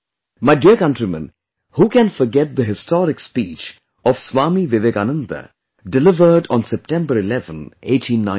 My dear countrymen, who can forget the historic speech of Swami Vivekananda delivered on September 11, 1893